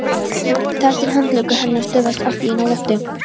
Þar til handleggur hennar stöðvast allt í einu á lofti.